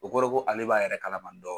O kɔrɔ ye ko ale b'a yɛrɛ kalama dɔɔni.